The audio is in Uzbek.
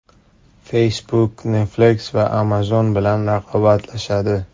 Facebook Netflix va Amazon bilan raqobatlashadi.